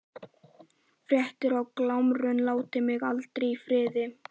Grettir og Glámur láta mig aldrei í friði.